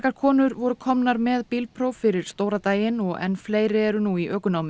konur voru komnar með bílpróf fyrir stóra daginn enn fleiri eru nú í ökunámi